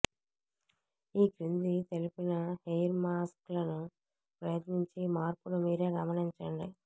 ఈ క్రింది తెలిపిన హెయిర్ మాస్క్ లను ప్రయత్నించి మార్పును మీరే గమనించండి